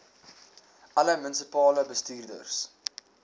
alle munisipale bestuurders